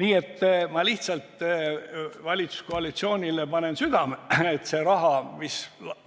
Nii et ma panen lihtsalt valitsuskoalitsioonile südamele, öeldes selle raha kohta, mis